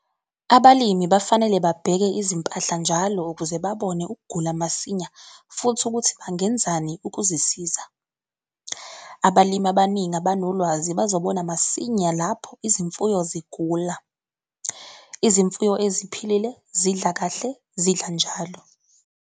Abalimi bafanele babheke izimpahla njalo ukuze babone ukugula masinya futhi ukuthi bangenzani ukuzisiza. Abalimi abaningi abanolwazi bazobona masinya lapho izimfuyo zigula. Izimfuyo eziphilile zidla kahle, zidla njalo.